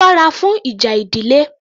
Sọ́ra fún ìjà ìdílé